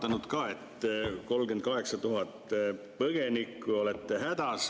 Aga praegu on 38 000 põgenikku, olete hädas.